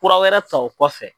Kura wɛrɛ ta o kɔfɛ.